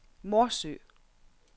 Morsø